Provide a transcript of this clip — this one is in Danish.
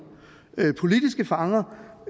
politiske fanger